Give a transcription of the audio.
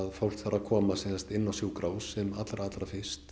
fólk þarf að komast inn á sjúkrahús sem allra allra fyrst